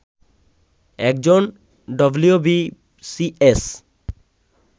একজন ডবলিউবিসিএস